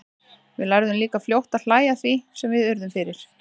Við lærðum líka fljótt að hlæja að því sem við urðum fyrir.